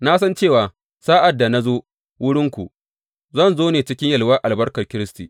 Na san cewa sa’ad da na zo wurinku, zan zo ne cikin yalwar albarkar Kiristi.